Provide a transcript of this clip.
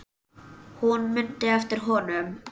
Hún mundi eftir honum.